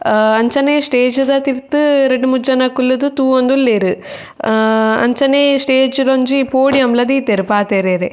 ಆ ಅಂಚನೆ ಸ್ಟೇಜ್ ದ ತಿರ್ತ್ ರಡ್ಡ್ ಮೂಜಿ ಜನ ಕುಲ್ಲುದು ತೂವೊಂದುಲ್ಲೆರ್ ಅಂಚನೆ ಸ್ಟೇಜ್ ಡೊಂಜಿ ಪೋಡಿಯಮ್ ಲ ದೀತೆರ್ ಪಾತೆರ್ಯೆರೆ.